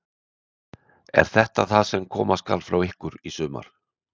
Er þetta það sem koma skal frá ykkur í sumar?